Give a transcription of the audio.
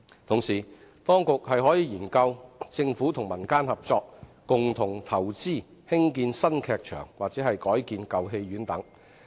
同時，當局可研究政府與民間合作，共同投資興建新劇場或改建舊戲院等。